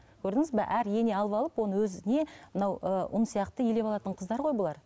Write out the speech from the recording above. көрдіңіз бе әр ене алып алып оны өзіне мынау ы ұн сияқты елеп алатын қыздар ғой бұлар